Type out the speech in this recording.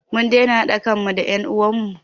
Mun daina haɗa kan mu da en uwan mu